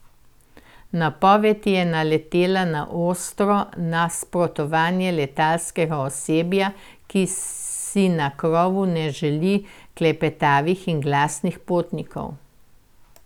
Napoved je naletela na ostro nasprotovanje letalskega osebja, ki si na krovu ne želi klepetavih in glasnih potnikov.